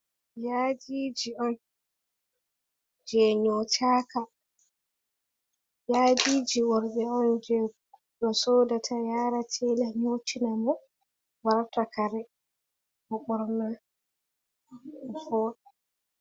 Yaadiji on, jei nyotaka, yaadiji worɓe on jei o sodata yara tela nyotina mo, warta kare, o ɓorna o vooɗa.